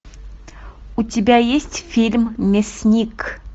у тебя есть фильм мясник